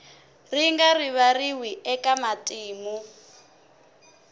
ri nga rivariwi eka matimu